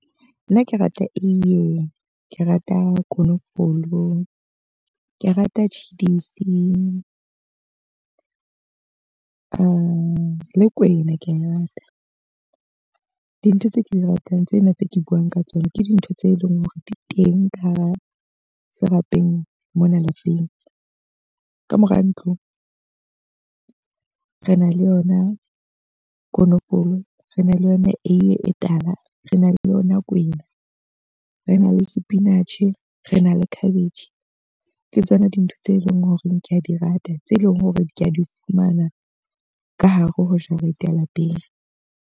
Nna ke rata eiye, ke rata konofolo, ke rata tjhidisi, le kwena ke a e rata. Dintho tse ke di ratang tsena tse ke buang ka tsona, ke dintho tse leng hore di teng ka hara serapeng mona lapeng. Ka mora ntlo, re na le yona konofolo, re na le yona eiye e tala, rena le yona kwena, rena le spinach, rena le cabbage. Ke tsona dintho tse leng hore ke a di rata, tse leng hore ke a di fumana ka hare ho jarete ya lapeng.